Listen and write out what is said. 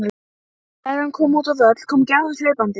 spurði hnátan hvatvíslega og gaumgæfði gestinn athugulum augum.